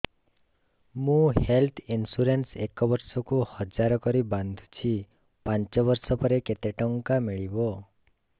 ମୁ health insurance ଏକ ବର୍ଷକୁ ହଜାର କରି ବାନ୍ଧୁଛି ପାଞ୍ଚ ବର୍ଷ ପରେ କେତେ ଟଙ୍କା ମିଳିବ